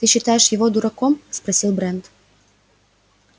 ты считаешь его дураком спросил брент